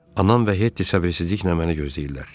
Anam və Hetti səbirsizliklə məni gözləyirlər.